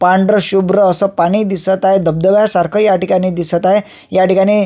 पांढर शुभ्र अस पाणी दिसत आहे धबधब्या सारख या ठिकाणी दिसत आहे या ठिकाणी--